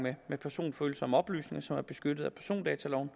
med personfølsomme oplysninger som er beskyttet af persondataloven